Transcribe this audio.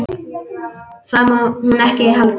Það má hún ekki halda.